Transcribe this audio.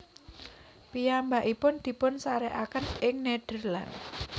Piyambakipun dipunsarékaken ing Nederland